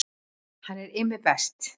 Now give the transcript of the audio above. Hann er Immi best.